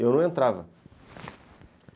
Eu não entrava.